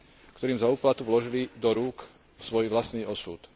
ktorým za úplatok vložili do rúk svoj vlastný osud.